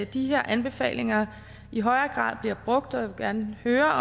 de her anbefalinger i højere grad bliver brugt og jeg vil gerne høre